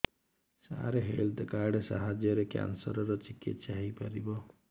ସାର health card ସାହାଯ୍ୟରେ cancer ର ଚିକିତ୍ସା ହେଇପାରିବ